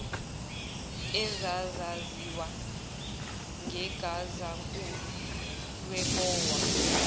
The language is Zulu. ezazaziwa ngegazankulu lebowa